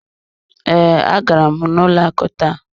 Ee, agara m n'ụlọ akụ taa.